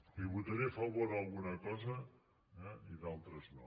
li votaré a favor alguna cosa eh i d’altres no